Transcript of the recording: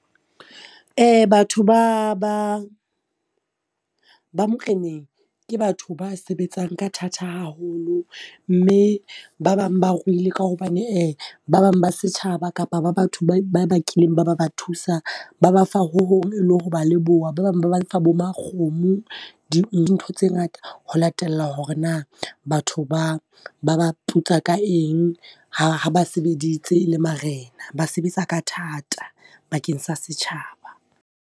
Batho ba ba ba moreneng, ke batho ba sebetsang ka thata haholo mme ba bang ba ruile ka hobane ba bang ba setjhaba kapa ba batho ba kileng ba ba ba thusa, ba ba fa ho hong e le ho ba leboha. Ba bang ba lefa bo makgomo, dintho tse ngata ho latela hore na batho ba ba ba putsa ka eng ha ha ba sebeditse e le marena, ba sebetsa ka thata bakeng sa setjhaba.